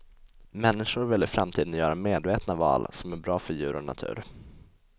Människor vill i framtiden göra medvetna val som är bra för djur och natur.